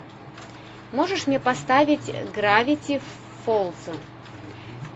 можешь мне поставить гравити фолза